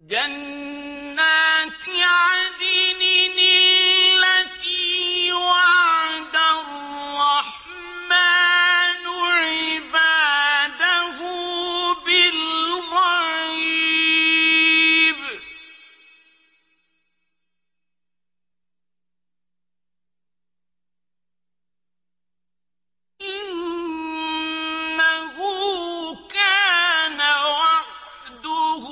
جَنَّاتِ عَدْنٍ الَّتِي وَعَدَ الرَّحْمَٰنُ عِبَادَهُ بِالْغَيْبِ ۚ إِنَّهُ كَانَ وَعْدُهُ